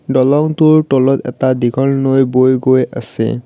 দলঙটোৰ তলত এটা দীঘল নৈ বৈ গৈ আছে।